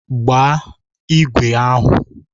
Gbaa igwe ahụ!